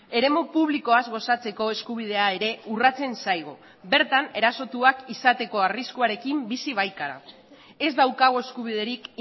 eremu publikoaz gozatzeko eskubidea ere urratzen zaigu bertan erasotuak izateko arriskuarekin bizi baikara ez daukagu eskubiderik